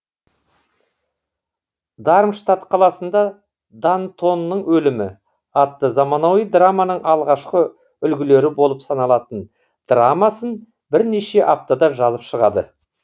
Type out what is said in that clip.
дармштат қаласында дантонның өлімі атты заманауи драманың алғашқы үлгілері болып саналатын драмасын бірнеше аптада жазып шығады